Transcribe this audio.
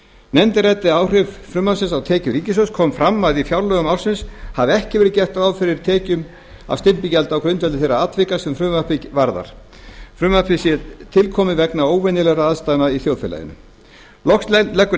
nefndin ræddi áhrif frumvarpsins á tekjur ríkissjóðs kom fram að í fjárlögum ársins hafi ekki verið gert ráð fyrir tekjum af stimpilgjaldi á grundvelli þeirra atvika sem frumvarpið varðar frumvarpið er tilkomið vegna óvenjulegra aðstæðna í þjóðfélaginu loks leggur